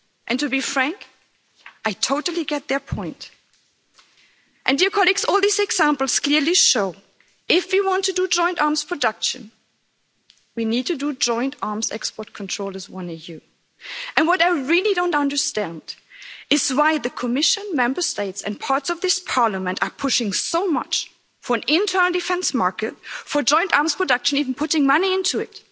And to be frank, I totally get their point. And dear colleagues, all these examples clearly show that if we want to do joint arms production, we need to do joint arms export control as one EU. What I really don't understand is why the Commission, the Member States and parts of this Parliament are pushing so much for an internal defence market for joint arms production even putting money into